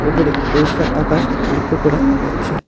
উপরে পরিষ্কার আকাশ লক্ষ করা যাচ্ছে।